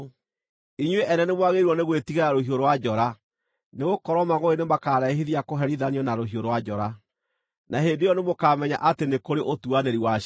inyuĩ ene nĩmwagĩrĩirwo nĩ gwĩtigĩra rũhiũ rwa njora; nĩgũkorwo mangʼũrĩ nĩmakarehithia kũherithanio na rũhiũ rwa njora, na hĩndĩ ĩyo nĩmũkamenya atĩ nĩ kũrĩ ũtuanĩri wa ciira.”